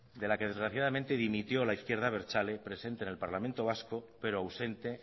de la que desgraciadamente dimitió la izquierda abertzale presente en el parlamento vasco pero ausente